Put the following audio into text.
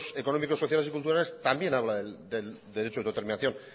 económicos sociales y culturales también habla del derecho de autodeterminación